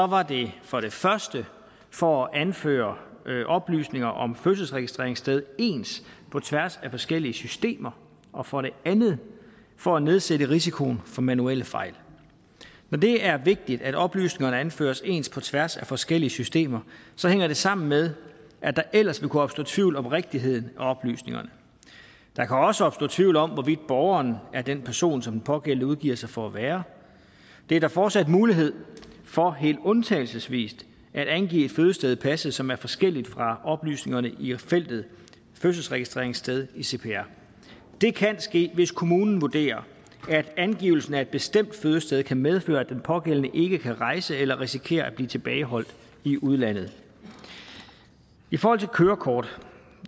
var det for det første for at anføre oplysninger om fødselsregistreringssted ens på tværs af forskellige systemer og for det andet for at nedsætte risikoen for manuelle fejl når det er vigtigt at oplysningerne anføres ens på tværs af forskellige systemer hænger det sammen med at der ellers vil kunne opstå tvivl om rigtigheden af oplysningerne der kan også opstå tvivl om hvorvidt borgeren er den person som den pågældende udgiver sig for at være der er fortsat mulighed for helt undtagelsesvis at angive et fødested i passet som er forskelligt fra oplysningerne i feltet fødselsregistreringssted i cpr det kan ske hvis kommunen vurderer at angivelsen af et bestemt fødested kan medføre at den pågældende ikke kan rejse eller risikerer at blive tilbageholdt i udlandet i forhold til kørekort